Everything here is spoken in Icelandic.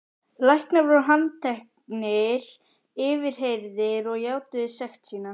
Læknarnir voru handteknir, yfirheyrðir og játuðu sekt sína.